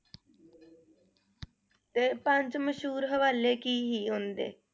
ਤੇ ਪੰਜ ਮਸ਼ਹੂਰ ਹਵਾਲੇ ਕੀ ਹੀ ਉਨ੍ਹਾਂ ਦੇ?